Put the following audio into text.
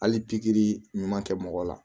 Hali pikiri ɲuman kɛ mɔgɔ la